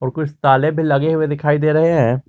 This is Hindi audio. कुछ ताले भी लगे हुए दिखाई दे रहे हैं।